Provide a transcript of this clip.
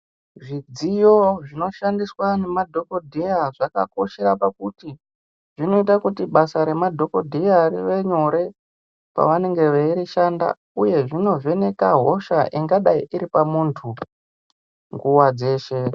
Zvidziyo zvinoshandiswa nemadhokodheya zvakakoshera pakuti zvinoita kuti basa remadhokodheya rive nyore pavanenge veirishanda uye zvinovheneka hosha ingadai iripamuntu nguwa dzeshe.